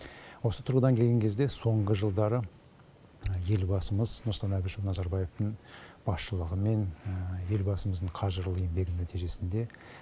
осы тұрғыдан келген кезде соңғы жылдары елбасымыз нұрсұлтан әбішұлы назарбаевтың басшылығымен елбасымыздың қажырлы еңбегінің нәтижесінде